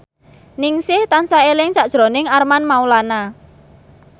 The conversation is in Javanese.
Ningsih tansah eling sakjroning Armand Maulana